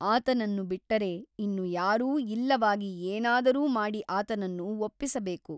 ಆತನನ್ನು ಬಿಟ್ಟರೆ ಇನ್ನು ಯಾರೂ ಇಲ್ಲವಾಗಿ ಏನಾದರೂ ಮಾಡಿ ಆತನನ್ನು ಒಪ್ಪಿಸಬೇಕು.